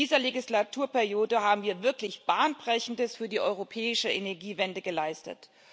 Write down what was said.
In dieser Legislaturperiode haben wir wirklich Bahnbrechendes für die europäische Energiewende geleistet.